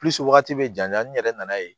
wagati bɛ janya n yɛrɛ nana ye